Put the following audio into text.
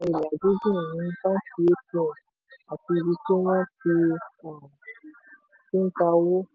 ilà gígùn ní báńkì atm àti ibi tí wọ́n ti um ń ta owó.